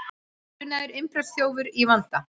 Grunaður innbrotsþjófur í vanda